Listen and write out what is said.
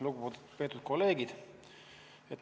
Lugupeetud kolleegid!